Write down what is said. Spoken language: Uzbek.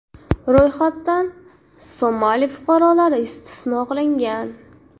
Ro‘yxatdan Somali fuqarolari istisno qilingan.